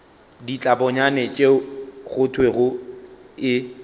ditlabonyane tšeo go thwego e